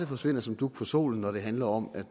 forsvinder som dug for solen når det handler om at